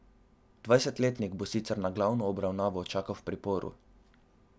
Dvajsetletnik bo sicer na glavno obravnavo čakal v priporu.